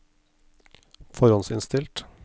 forhåndsinnstilt